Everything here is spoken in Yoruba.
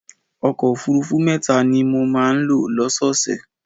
Ọkọ̀ òfuurufú mẹ́ta ni mo máa ń lò lọ́sọ́ọ̀ọ̀sẹ̀.